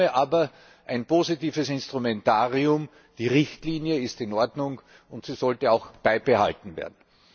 In Summe aber ein positives Instrumentarium, die Richtlinie ist in Ordnung, und sie sollte auch beibehalten werden.